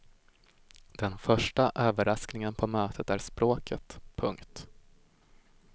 Den första överraskningen på mötet är språket. punkt